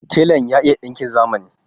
Telan ya iya ɗinkin zamani.